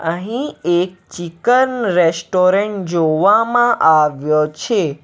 અહીં એક chicken restaurant જોવામાં આવ્યો છે.